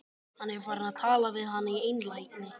Hann er farinn að tala við hana í einlægni!